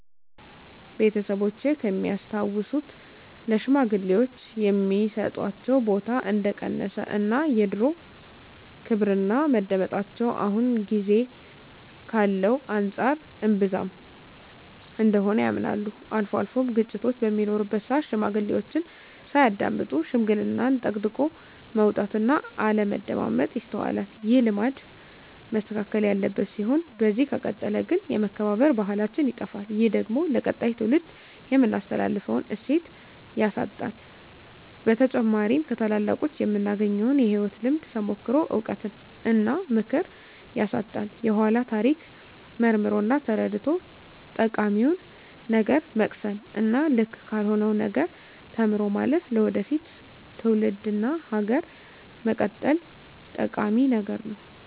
ቤተሰቦቼ ከሚያስታውሱት ለሽማግሌወች የሚሰጣቸው ቦታ እንደቀነሰ እና የድሮው ክብርና መደመጣቸው አሁን ጊዜ ካለው አንፃር እንብዛም እንደሆነ ያምናሉ። አልፎ አልፎም ግጭቶች በሚኖሩበት ስአት ሽማግሌዎችን ሳያዳምጡ ሽምግልናን ጠቅጥቆ መውጣት እና አለማዳመጥ ይስተዋላል። ይህ ልማድ መስተካከል ያለበት ሲሆን በዚህ ከቀጠለ ግን የመከባበር ባህላችን ይጠፋል። ይህ ደግሞ ለቀጣይ ትውልድ የምናስተላልፈውን እሴት ያሳጣናል። በተጨማሪም ከታላላቆቹ የምናገኘውን የህይወት ልምድ፣ ተሞክሮ፣ እውቀት እና ምክር ያሳጣናል። የኃላን ታሪክ መርምሮ እና ተረድቶ ጠቃሚውን ነገር መቅሰም እና ልክ ካልሆነው ነገር ተምሮ ማለፍ ለወደፊት ትውልድ እና ሀገር መቀጠል ጠቂሚ ነገር ነው።